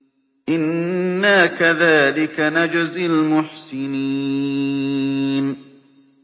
إِنَّا كَذَٰلِكَ نَجْزِي الْمُحْسِنِينَ